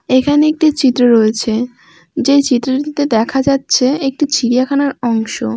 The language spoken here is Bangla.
এখানে একটি চিত্র রয়েছে যে চিত্রটিতে দেখা যাচ্ছে একটি চিড়িয়াখানার অংশ ।